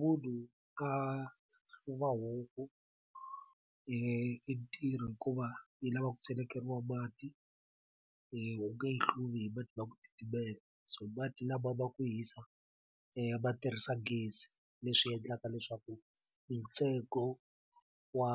munhu a hluva huku i ntirho hikuva yi lava ku cheleriwa mati u nge yi hluvi hi mati ma ku titimela so mati lama ma ku hisa ma tirhisa gezi leswi endlaka leswaku ntsengo wa